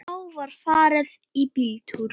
Þá var farið í bíltúr.